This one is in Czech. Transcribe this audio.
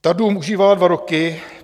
Ta dům užívala dva roky.